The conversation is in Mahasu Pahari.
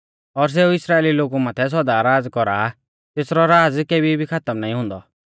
और सेऊ इस्राइली लोगु माथै सौदा राज़ कौरा आ तेसरौ राज़ केभी भी खातम नाईं हुन्दौ